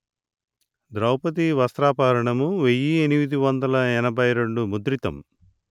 ద్రౌవది వస్త్రాపహరణం వెయ్యి ఎనిమిది వందలు ఎనభై రెండు ముద్రితం